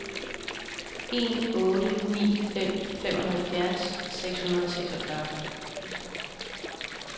en otte ni fem femoghalvfjerds seks hundrede og seksogfyrre